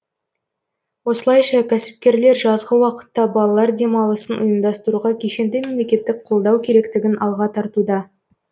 осылайша кәсіпкерлер жазғы уақытта балалар демалысын ұйымдастыруға кешенді мемлекеттік қолдау керектігін алға тартуда